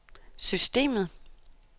systemet